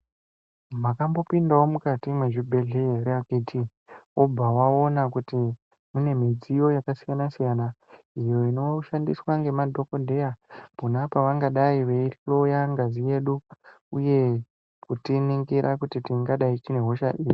Makambopindawo mukati mwezvibhehleya ere akhiti, wobva waona kuti mune midziyo yakasiyana-siyana iyo inoshandiswa ngemadhokodheya pona pavangadai veihloya ngazi yedu uye kutiningira kuti tingadai tine hosha iri.